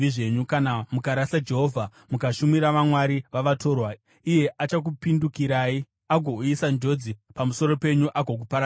Kana mukarasa Jehovha, mukashumira vamwari vavatorwa, iye achakupindukirai agouyisa njodzi pamusoro penyu agokuparadzai.”